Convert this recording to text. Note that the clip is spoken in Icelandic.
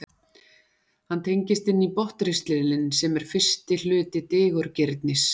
hann tengist inn í botnristilinn sem er fyrsti hluti digurgirnis